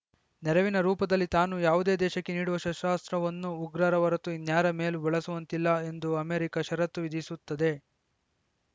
ನೆರವಿನ ರೂಪದಲ್ಲಿ ತಾನು ಯಾವುದೇ ದೇಶಕ್ಕೆ ನೀಡುವ ಶಸ್ತ್ರಾಸ್ತ್ರವನ್ನು ಉಗ್ರರ ಹೊರತೂ ಇನ್ಯಾರ ಮೇಲೂ ಬಳಸುವಂತಿಲ್ಲ ಎಂದು ಅಮೆರಿಕ ಷರತ್ತು ವಿಧಿಸುತ್ತದೆ